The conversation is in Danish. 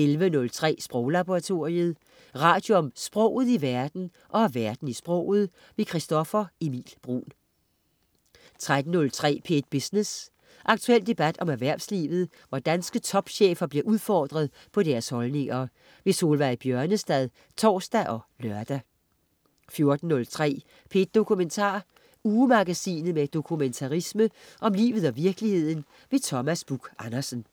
11.03 Sproglaboratoriet. Radio om sproget i verden og verden i sproget. Christoffer Emil Bruun 13.03 P1 Business. Aktuel debat om erhvervslivet, hvor danske topchefer bliver udfordret på deres holdninger. Solveig Bjørnestad (tors og lør) 14.03 P1 Dokumentar. Ugemagasinet med dokumentarisme om livet og virkeligheden. Thomas Buch-Andersen